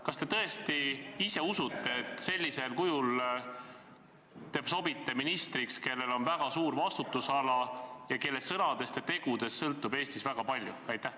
Kas te tõesti ise usute, et te sobite ministriks, kellel on väga suur vastutusala ning kelle sõnadest ja tegudest sõltub Eestis väga palju?